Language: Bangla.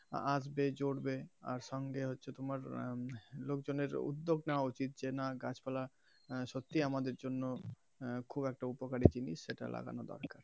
আসবে জুড়বে আর সঙ্গে হচ্ছে তোমার লোকজনের উদ্যোগ নেওয়া উচিত যে না গাছ পালা সত্যিই আমাদের জন্য খুব একটা উপকারী জিনিস সেটা লাগানো দরকার.